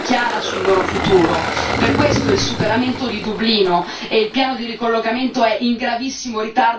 Per questo il superamento di Dublino e il piano di ricollocamento è in gravissimo ritardo e doveva essere già partito.